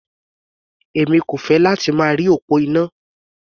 Èmi kò fẹ́ láti máa rí òpó iná.